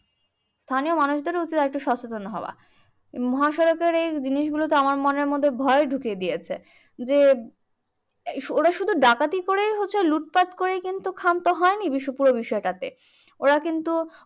স্থানীয় মানুষদেরও উচিত আরেকটু সচেতন হওয়া। মহাসড়কের এই জিনিসগুলি তো আমার মনের মধ্যে মনে ভয় ঢুকিয়ে দিয়েছে। যে ওরা শুধু ডাকাতি করে হচ্ছে লুটপাট করে কিন্তু ক্ষান্ত হয়নি বিষয় পুরো বিষয়টা। ওরা কিন্তু